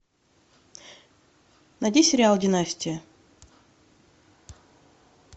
найди сериал династия